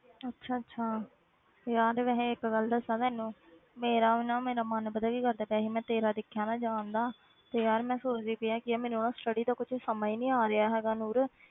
ਅੱਛਾ ਅੱਛਾ, ਤੇ ਯਾਰ ਵੈਸੇ ਇੱਕ ਗੱਲ ਦੱਸਾਂ ਤੈਨੂੰ ਮੇਰਾ ਨਾ ਮੇਰਾ ਮਨ ਪਤਾ ਕੀ ਕਰਦਾ ਪਿਆ ਸੀ, ਮੈਂ ਤੇਰਾ ਦੇਖਿਆ ਨਾ ਜਾਣ ਦਾ ਤੇ ਯਾਰ ਮੈਂ ਸੋਚਦੀ ਪਈ ਹਾਂ ਕਿ ਯਾਰ ਮੈਨੂੰ ਨਾ study ਦਾ ਕੁਛ ਸਮਝ ਨਹੀਂ ਆ ਰਿਹਾ ਹੈਗਾ ਨੂਰ,